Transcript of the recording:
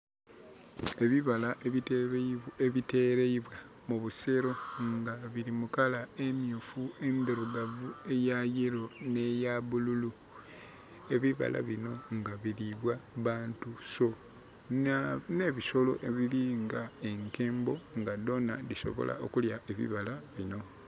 Ebibala ebitereibwa mu busero nga biri mu kala emyufu, endhirugavu, eya kyenvu nhe ya bululu. Ebibala binho nga biribwa bantu nhe bisolo ebiri nga enkembo nga dhona dhi sobola okulya ebibala bino.